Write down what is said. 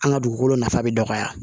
An ka dugukolo nafa bɛ dɔgɔya